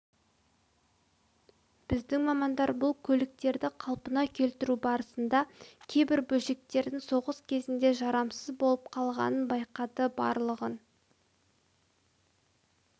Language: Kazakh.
біздің мамандар бұл көліктерді қалпына келтіру барысында кейбір бөлшектердің соғыс кезінде жарамсыз болып қалғанын байқады барлығын